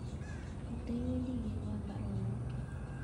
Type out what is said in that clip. Katewendi igerwan baruonokyuk